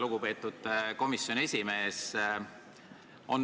Lugupeetud komisjoni esimees!